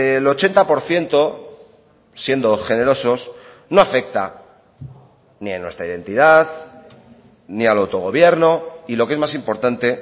el ochenta por ciento siendo generosos no afecta ni en nuestra identidad ni al autogobierno y lo que es más importante